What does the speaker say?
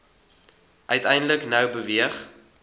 uiteindelik nou beweeg